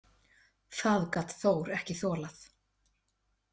Það gat Þór ekki þolað.